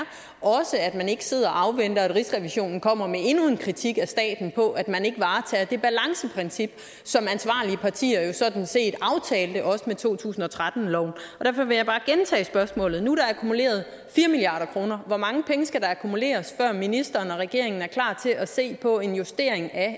og at man ikke sidder og afventer at rigsrevisionen kommer med endnu en kritik af staten for at man ikke varetager det balanceprincip som ansvarlige partier jo sådan set aftalte også med to tusind og tretten loven derfor vil jeg bare gentage spørgsmålet nu er der akkumuleret fire milliard kroner hvor mange penge skal der akkumuleres før ministeren og regeringen er klar til at se på en justering af